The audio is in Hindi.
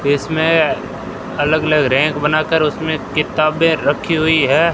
इसमें अलग अलग रैंक बनाकर उसमें किताबें रखी हुई है।